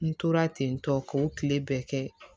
N tora ten tɔ k'o tile bɛɛ kɛ